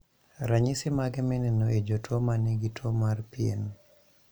. Ranyisi mage mineno e jotuo manigi tuo mar pien